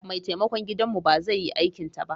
Mai taimakon gidanmu ba zai yi aikinta ba.